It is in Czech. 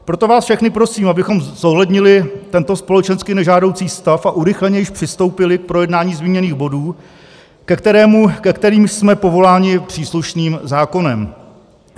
Proto vás všechny prosím, abychom zohlednili tento společensky nežádoucí stav a urychleně již přistoupili k projednání zmíněných bodů, ke kterému jsme povoláni příslušným zákonem.